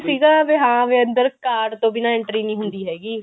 ਸੀਗਾ ਵੀ ਹਾਂ ਵੀ ਅੰਦਰ card ਤੋਂ ਬਿਨਾ entry ਨੀ ਹੁੰਦੀ ਹੈਗੀ